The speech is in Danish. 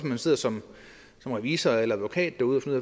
man sidder som revisor eller advokat derude